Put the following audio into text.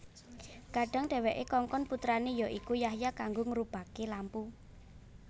Kadhang dhèwèké kongkon putrané ya iku Yahya kanggo ngurubaké lampu